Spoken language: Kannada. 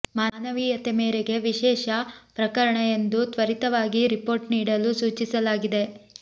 ಮಾನವೀಯತೆ ಮೇರೆಗೆ ವಿಶೇಷ ಪ್ರಕರಣ ಎಂದು ತ್ವರಿತವಾಗಿ ರಿಪೋರ್ಟ್ ನೀಡಲು ಸೂಚಿಸಲಾಗಿದೆ